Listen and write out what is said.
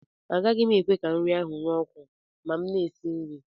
Agaghị m ekwe ka nri ahụ ree ọkụ ma m na-esi nri